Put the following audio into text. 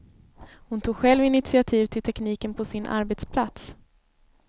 Hon tog själv initiativ till tekniken på sin arbetsplats.